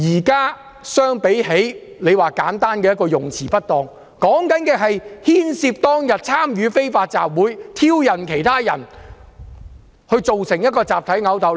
現時與簡單用詞不當的情況不同，是牽涉參與非法集會，挑釁其他人，造成集體毆鬥。